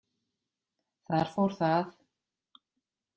Þar fór það.